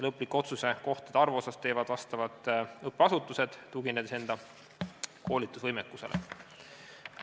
Lõplikult otsustavad kohtade arvu vastavad õppeasutused, tuginedes enda koolitusvõimekusele.